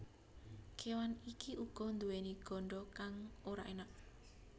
Kéwan iki uga nduwèni ganda kang ora enak